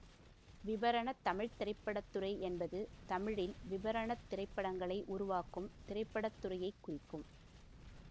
விபரண தமிழ் திரைப்பட துறை என்பது தமிழில் விபரண திரைப்படங்களை உருவாக்கும் திரைப்பட துறையை குறிக்கும்